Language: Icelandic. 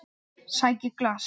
Sæki glas.